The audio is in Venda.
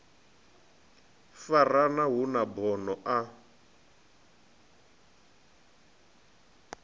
farana hu na bono a